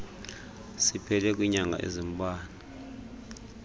siphele kwiinyanga ezimbalwa